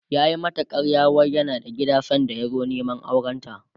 yayi mata ƙarya wai yana da gida sanda ya zo Neman aurenta